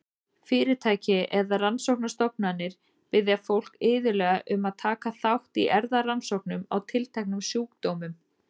Fyrirtæki eða rannsóknastofnanir biðja fólk iðulega um að taka þátt í erfðarannsóknum á tilteknum sjúkdómum.